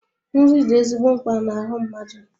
Nri dị ezigbo mkpa na-ahu mmadụ